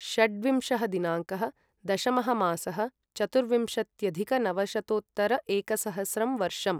षड्विंशः दिनाङ्कः दशमः मासः चतुर्विंशत्यधिक नवशतोत्तर एकसहस्रं वर्षम्